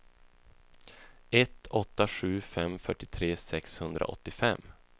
ett åtta sju fem fyrtiotre sexhundraåttiofem